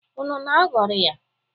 Unu na-aghọrị ya?